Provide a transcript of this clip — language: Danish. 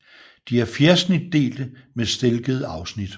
De er fjersnitdelte med stilkede afsnit